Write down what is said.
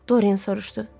Doren soruşdu.